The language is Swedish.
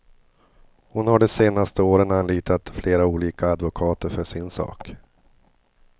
Hon har de senaste åren anlitat flera olika advokater för sin sak.